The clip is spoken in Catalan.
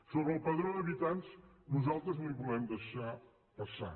sobre el padró d’habitants nosaltres no el volem deixar passar